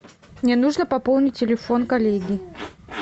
мне нужно пополнить телефон коллеги